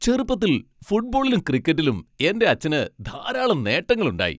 ചെറുപ്പത്തിൽ ഫുട്ബോളിലും ക്രിക്കറ്റിലും എന്റെ അച്ഛന് ധാരാളം നേട്ടങ്ങൾ ഉണ്ടായി.